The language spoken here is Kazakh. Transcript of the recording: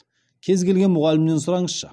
кез келген мұғалімнен сұраңызшы